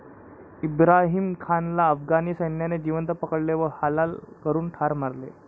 इब्राहिमखानला अफगाणी सैन्याने जीवंत पकडले व हालहाल करून ठार मारले.